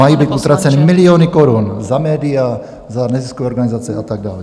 Mají být utraceny miliony korun za média, za neziskové organizace a tak dále?